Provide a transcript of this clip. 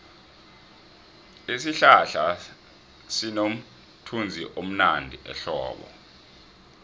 isihlahla sinomthunzivmnandi ehlobo